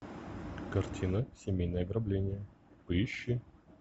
картина семейное ограбление поищи